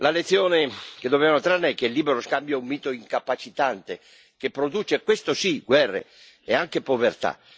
La lezione che dobbiamo trarne è che il libero scambio è un mito incapacitante, che produce questo sì guerre, e anche povertà.